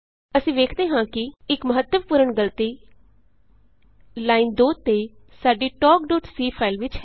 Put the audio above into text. ਅਸੀਂ ਵੇਖਦੇ ਹਾਂ ਕਿ ਇਕ ਮੱਹਤਵਪੂਰਣ ਗਲਤੀ ਲਾਈਨ ਨੰ 2 ਤੇ ਸਾਡੀ talkਸੀ ਫਾਈਲ ਵਿਚ ਹੈ